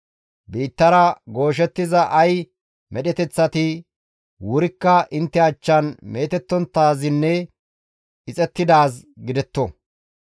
« ‹Biittara gooshettiza ay medheteththati wurikka intte achchan meetettonttaazinne ixettidaaz gidetto.